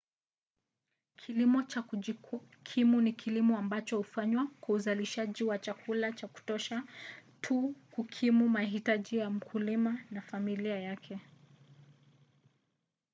kilimo cha kujikimu ni kilimo ambacho hufanywa kwa uzalishaji wa chakula cha kutosha tu kukimu mahitaji ya mkulima na familia yake